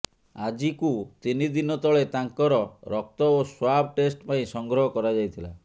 ଆଜିକୁ ତିନି ଦିନ ତଳେ ତାଙ୍କର ରକ୍ତ ଓ ସ୍ୱାବ୍ ଟେଷ୍ଟ ପାଇଁ ସଂଗ୍ରହ କରାଯାଇଥିଲା